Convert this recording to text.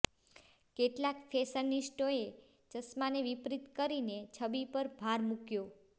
કેટલાક ફેશનિસ્ટોએ ચશ્માને વિપરીત કરીને છબી પર ભાર મૂક્યો